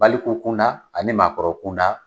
Baliku kun da ani maakɔrɔ kun da.